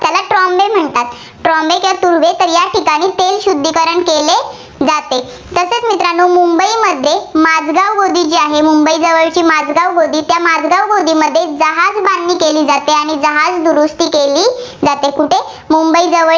तेल शुद्धीकरण केले जाते. तसेच मित्रांनो मुंबईमध्ये माझगाव गोदी जी आहे, मुंबई जवळीच माझगाव गोदी, त्या माझगाव गोदीमध्ये जहाज बांधणी केली जाते आणि जहाज दुरुस्ती केली जाते. कुठे मुंबई जवळील